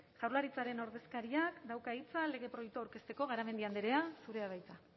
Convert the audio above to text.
jaurlaritzaren ordezkariak dauka hitza lege proiektua aurkezteko garamendi andrea zurea da hitza